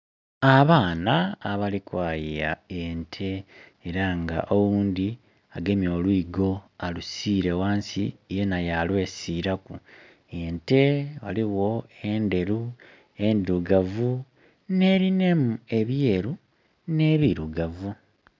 Abaana abali kwaya ente era nga oghundi agemye olwigo alisile ghansi yena ya lwesilaku. Ente ghaligho endheru, endhirugavu nerinamu ebyeru nebirugavu